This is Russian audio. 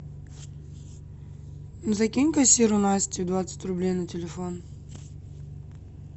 закинь кассиру насте двадцать рублей на телефон